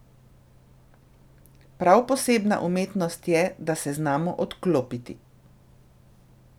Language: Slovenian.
Prav posebna umetnost je, da se znamo odklopiti.